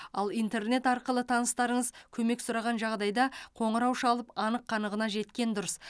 ал интернет арқылы таныстарыңыз көмек сұраған жағдайда қоңырау шалып анық қанығына жеткен дұрыс